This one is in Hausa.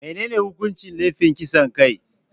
Menene hukuncin laifin kasan kai?